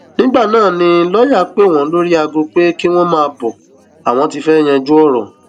nígbà náà ni lọọyà pè wọn lórí aago pé kí wọn máa bọ ọ àwọn ti fẹẹ yanjú ọrọ